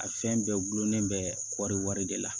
A fɛn bɛɛ gulonnen bɛ kɔɔri wari de la